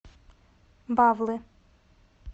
бавлы